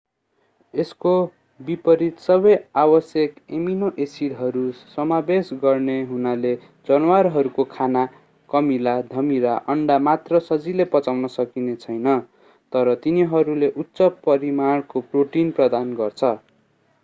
यसको विपरित सबै आवश्यक एमिनो एसिडहरू समावेश गर्ने हुनाले जनावरहरूको खाना कमिला धमिरा अन्डा मात्र सजिलै पचाउन सकिने छैन तर तिनीहरूले उच्च परिमाणको प्रोटिन प्रदान गर्छ।